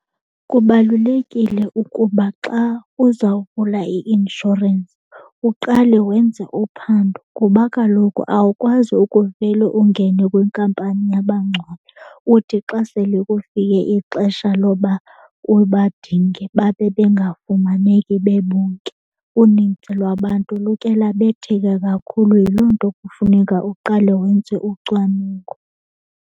Kubalulekile ukuba xa uzawuvula i-inshorensi uqale wenze uphando kuba kaloku awukwazi ukuvele ungene kwinkampani yabangcwabi, uthi xa sele kufike ixesha loba ubadinge babe bengafumaneki bebonke. Unintsi lwabantu luke labetheka kakhulu. Yiloo nto kufuneka uqale wenze ucwaningo.